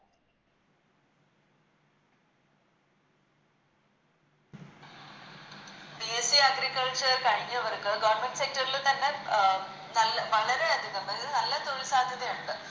BSCAgriculture കഴിഞ്ഞവർക്ക് Government sector ൽ തന്നെ അഹ് നൽ വളരെയതികം അതായത് നല്ല തൊഴിൽ സാധ്യതയുണ്ട്